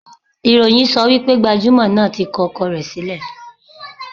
Ìròyìn sọ wípé gbajúmò náà tí kọ ọkọ rẹ̀ sílẹ̀.